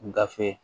Gafe